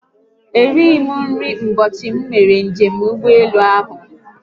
Erighi m nri ụbọchị m mere njem ụgbọelu ahụ